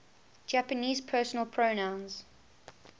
japanese personal pronouns